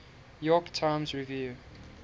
york times review